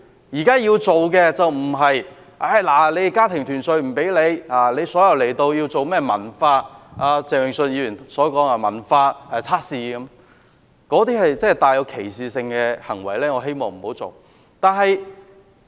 現在要做的，並不是禁止家庭團聚，也不是要進行鄭泳舜議員說的甚麼文化測試，那些是帶有歧視性的行為。